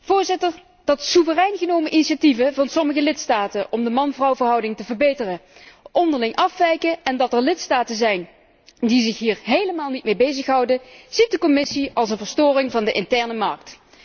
Voorzitter, dat soeverein genomen initiatieven van sommige lidstaten om de man vrouw verhouding te verbeteren onderling afwijken en dat er lidstaten zijn die zich hier helemaal niet mee bezighouden, ziet de Commissie als een verstoring van de interne markt.